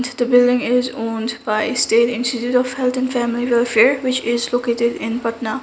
is the building is owned by state institute of health and family welfare which is located in patna.